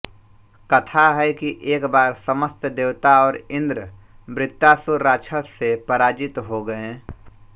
कथा है कि एक बार समस्त देवता और इंद्र वृत्तासुर राक्षस से पराजित हो गए